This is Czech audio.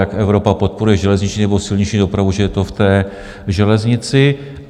jak Evropa podporuje železniční nebo silniční dopravu, že je to v té železnici.